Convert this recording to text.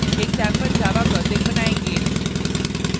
एक sample java project बनायेंगे